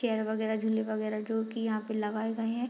Chair वगैरा झूले वगैरा जो की यहाँ पर लगाए गए है।